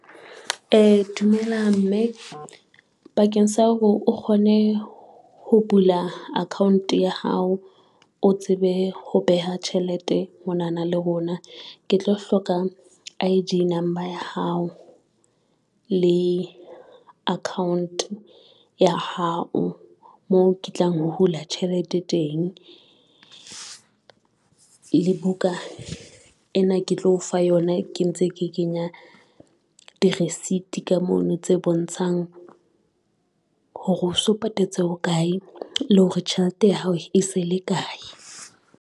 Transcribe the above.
Dumela mme bakeng sa hore o kgone ho bula account ya hao, o tsebe ho beha tjhelete mona na le rona ke tlo hloka I_D number ya hao le account ya hao moo ke tlang ho hula tjhelete teng. Le buka ena ke tlo o fa yona ke ntse ke kenya di-receipt ka mono tse bontshang hore o so patetse bokae le hore tjhelete ya hao e se le kae.